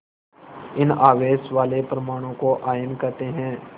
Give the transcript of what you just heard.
इन आवेश वाले परमाणुओं को आयन कहते हैं